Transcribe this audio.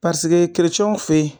Paseke fe yen